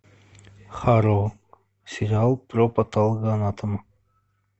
хэрроу сериал про патологоанатома